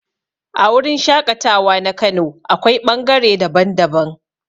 A wurin shaƙatawa na kano akwai ɓangare daban-daban.